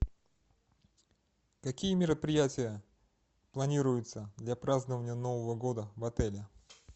какие мероприятия планируются для празднования нового года в отеле